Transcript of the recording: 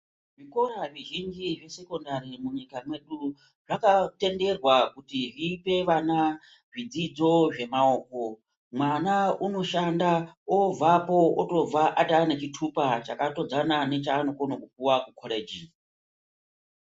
Zvikora zvizhinji zvesekondari munyika mwedu zvakatenderwa kuti zvipevana zvidzidzvo zvamaoko. Mwana unoshanda, obvapo, unobva ataa nechitupa chakatodzana nechaanokwanisa kupuwa kukorichi.